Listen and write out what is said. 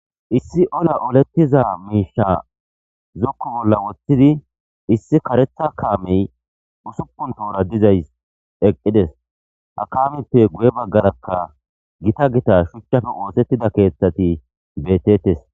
issi ola olettiza miisha zukku bolla woththidi issi karetha kaamey usupun toora dizays eqqides akameppe guye baggarakka gita gita shuchchafe oosettida keeththati betettes